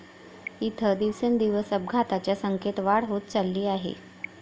इथं दिवसेंदिवस अपघातांच्या संख्येत वाढ होत चालली आहे.